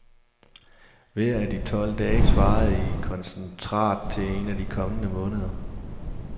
Hver af de tolv dage svarede i koncentrat til en af de kommende måneder.